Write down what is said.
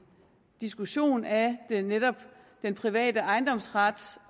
diskussion af den private ejendomsret